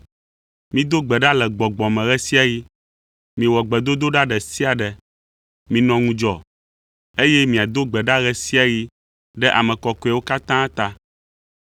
Mido gbe ɖa le gbɔgbɔ me ɣe sia ɣi, miwɔ gbedodoɖa ɖe sia ɖe. Minɔ ŋudzɔ, eye miado gbe ɖa ɣe sia ɣi ɖe ame kɔkɔewo katã ta.